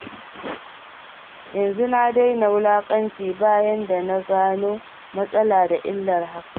Yanzu na daina wulaƙanci bayan da na gano matsala da illar hakan.